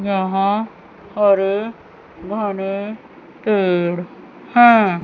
यहां हरे घने पेड़ है।